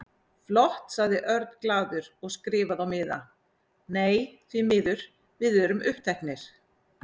Flott sagði Örn glaður og skrifaði á miða: Nei, því miður, við erum uppteknir